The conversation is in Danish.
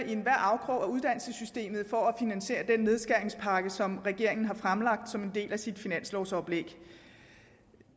enhver afkrog i uddannelsessystemet for at finansiere den nedskæringspakke som regeringen har fremlagt som en del af sit finanslovoplæg